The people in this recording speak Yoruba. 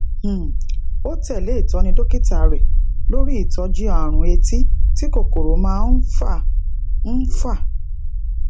um ó tèlé ìtóni dókítà rè lori itójú àrùn etí tí kòkòrò máa ń fà ń fà